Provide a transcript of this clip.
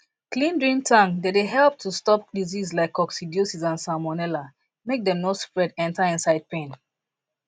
clean drink tank dey dey help to stop disease like coccidiosis and salmonella make them no spread enter inside pen